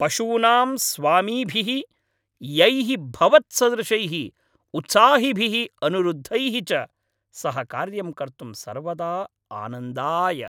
पशूनां स्वामीभिः यैः भवत्सदृशैः उत्साहिभिः अनुरुद्धैः च सह कार्यं कर्तुं सर्वदा आनन्दाय।